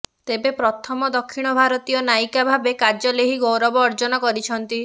ତେବେ ପ୍ରଥମ ଦକ୍ଷିଣ ଭାରତୀୟ ନାୟିକା ଭାବେ କାଜଲ୍ ଏହି ଗୌରବ ଅର୍ଜନ କରିଛନ୍ତି